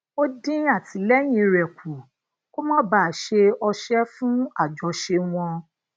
ó dín atìléyìn re kù kó má bàa se ose fun àjọṣe wọn